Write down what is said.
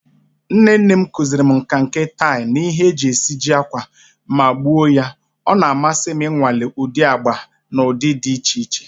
Nne nne m kụziiri m nkà nke tie na ihe e ji esiji ákwà, ma ugbu a ọ na-amasị m ịnwale ụdị agba na ụdị dị iche iche.